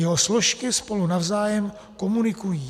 Jeho složky spolu navzájem komunikují.